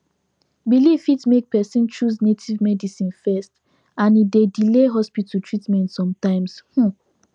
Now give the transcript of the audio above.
belief fit make person choose native medicine first and e dey delay hospital treatment sometimes um